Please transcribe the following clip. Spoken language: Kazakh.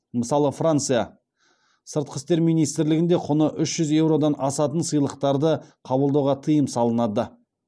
мысалы франция сыртқы істер министрлігінде құны үш жүз еуродан асатын сыйлықтарды қабылдауға тыйым салынады